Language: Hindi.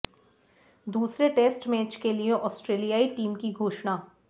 दूसरे टेस्ट मैच के लिए ऑस्ट्रेलियाई टीम की घोषणा